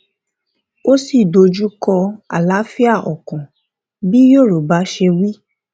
ó sì dojú kọ àlàáfíà ọkàn bí yorùbá ṣe wí